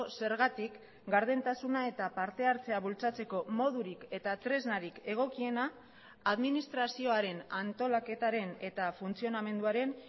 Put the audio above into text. zergatik gardentasuna eta partehartzea bultzatzeko modurik eta tresnarik egokiena administrazioaren antolaketaren eta funtzionamenduaren